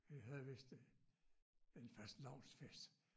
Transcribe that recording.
Vi havde vidst øh en fastelavnsfest